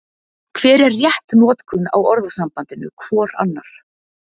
Hver er rétt notkun á orðasambandinu hvor annar?